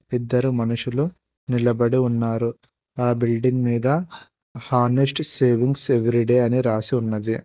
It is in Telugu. ఇద్దరు మనుషులు నిలబడి ఉన్నారు ఆ బిల్డింగ్ మీద హానెస్ట్ సేవింగ్ సేవ్ రెడీ అని రాసి ఉన్నది.